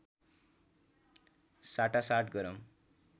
साटासाट गरौँ